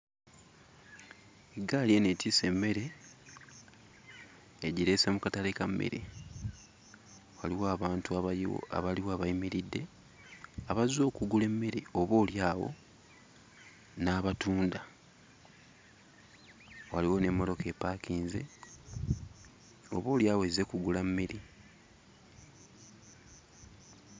Eggaali eno etisse emmere, egireese mu katale ka mmere. Waliwo abantu abaliwo abayimiridde abazze okugula emmere oboolyawo, n'abatunda. Waliwo n'emmotoka epaakinze, oboolyawo ezze kugula mmere.